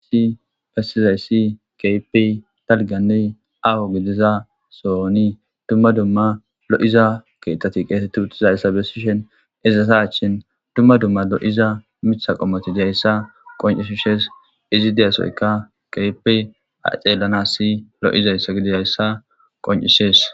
Haysi besizaysi keehippe dalganne aaho gidiza sooni dumma dumma lo7iza keetati qeetetti uttizayssa bessishen ezasa achshin dumma dumma lo7iza mitha qommotidayssa qoncishushees izi deyasoyka keypi aceellanasi lo7izayssa gididayssa qoncises